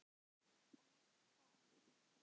En næst það?